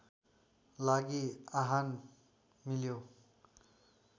लागि आह्वान मिल्यो